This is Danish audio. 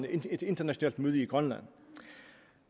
et internationalt møde i grønland